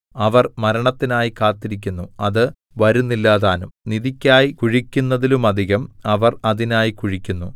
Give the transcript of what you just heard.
അവർ മരണത്തിനായി കാത്തിരിക്കുന്നു അത് വരുന്നില്ലതാനും നിധിക്കായി കുഴിക്കുന്നതിലുമധികം അവർ അതിനായി കുഴിക്കുന്നു